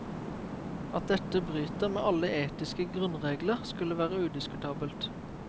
At dette bryter med alle etiske grunnregler, skulle være udiskutabelt.